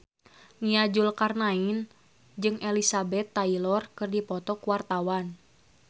Nia Zulkarnaen jeung Elizabeth Taylor keur dipoto ku wartawan